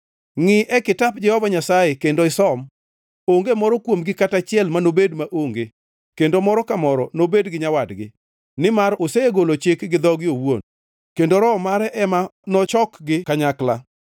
Ngʼii e kitap Jehova Nyasaye kendo isom: Onge moro kuomgi kata achiel manobed maonge, kendo moro ka moro nobed gi nyawadgi. Nimar osegolo chik gi dhoge owuon, kendo Roho mare ema nochokgi kanyakla.